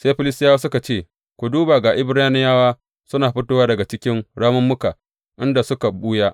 Sai Filistiyawa suka ce, Ku duba ga Ibraniyawa suna fitowa daga cikin ramummuka inda suka ɓuya.